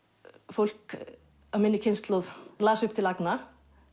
fólk af minni kynslóð las upp til agna